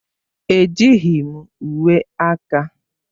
Ejighị m uwe aka.